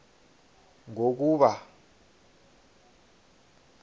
ngokuba